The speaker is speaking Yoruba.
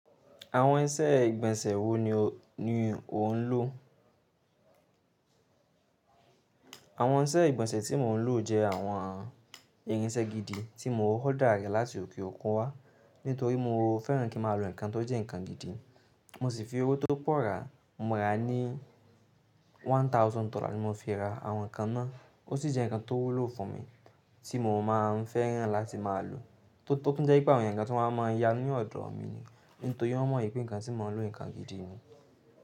Àwọn iṣẹ́ ìgbọ̀nsẹ̀ wo ni o ń lò? Àwọn iṣẹ́ ìgbọ̀nsẹ̀ tí mò ń lò jẹ́ àwọn irinṣẹ́ gidi tí mò ń hódà rẹ̀ láti òkè òkun wá. Nítorí mo fẹ́ràn kí mà ló ǹkan tó jẹ́ ǹkan gidi. Mo sì fi owó tó pọ̀ rà, mo rà ní one thousand dollar ni mo fi rà àwọn ǹkan ná. Ó sì jẹ́ ǹkan tó wúlò fún mi tí mò mọ́ máa ń fẹ́ràn láti máa lò. Tó tó tún jẹ pẹ́ àwọn èèyàn gan máa ń yá ní ọ̀dọ̀ mi ni. Nítorí wọ́n mọ̀ wípé ǹkan tí mò ń lò ǹkan gidi ni.